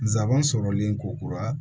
Nsaban sɔrɔlen ko kura